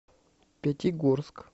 пятигорск